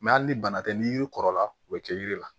Mɛ hali ni bana tɛ ni yiri kɔrɔla u bɛ kɛ yiri la